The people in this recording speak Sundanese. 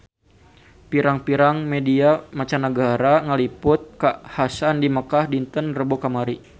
Pirang-pirang media mancanagara ngaliput kakhasan di Mekkah dinten Rebo kamari